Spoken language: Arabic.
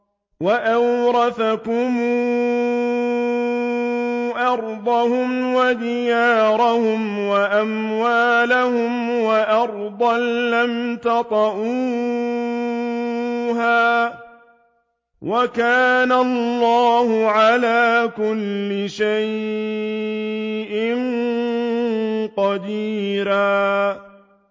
وَأَوْرَثَكُمْ أَرْضَهُمْ وَدِيَارَهُمْ وَأَمْوَالَهُمْ وَأَرْضًا لَّمْ تَطَئُوهَا ۚ وَكَانَ اللَّهُ عَلَىٰ كُلِّ شَيْءٍ قَدِيرًا